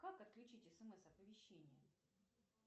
как отключить смс оповещение